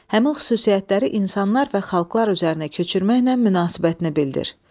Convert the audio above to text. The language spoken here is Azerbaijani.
Həmin xüsusiyyətləri insanlar və xalqlar üzərinə köçürməklə münasibətini bildir.